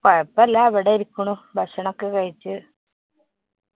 കൊയപ്പല്ല്യാ. ഇവിടെ ഇരിക്കുണൂ. ഭക്ഷനൊക്കെ കഴിച്ച്.